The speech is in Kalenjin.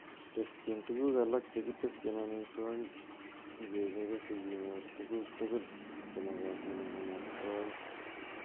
Teschin tuguk alak chekitesyin amitwogik ingechobe sikonyor tuguk tugul chemokotin en amitwogik.